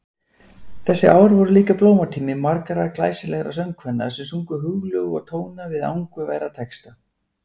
Þessi ár voru líka blómatími margra glæsilegra söngkvenna sem sungu hugljúfa tóna við angurværa texta.